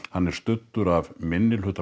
hann er studdur af minnihluta